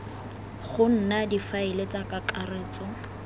go nna difaele tsa kakaretso